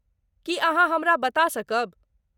की अहाँ हमरा बता सकब?